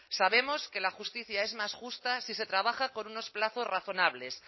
sabemos que la justicia es más justa si se trabaja con unos plazos razonables